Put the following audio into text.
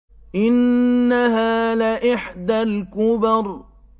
إِنَّهَا لَإِحْدَى الْكُبَرِ